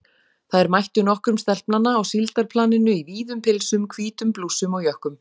Þær mættu nokkrum stelpnanna á síldarplaninu í víðum pilsum, hvítum blússum og jökkum.